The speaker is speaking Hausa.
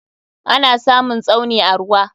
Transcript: Ana samun Tsauni a ruwa.